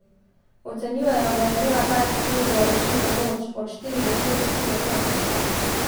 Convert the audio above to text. Ocenjujejo, da je imela ta eksplozija rušilno moč od štiri do šest kiloton.